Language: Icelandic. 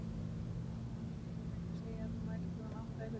Eigum við ekki að segja að þú mætir klukkan átta í fyrramálið.